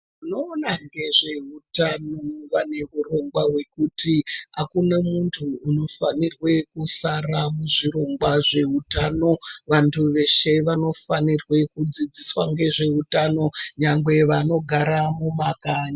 Vanoona ngezveutano vaneurongwa hwekuti hakuna muntu anofanirwa kusara kuzvirongwa zveutano vantu veshe vanofanirwa kudzidziswa ngezveutano nyangwe vanogara mumama kanyi.